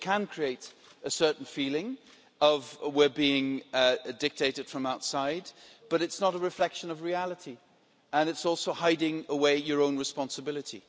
It can create a certain feeling of we're being dictated to from outside', but it is not a reflection of reality, and it is also hiding away your own responsibility.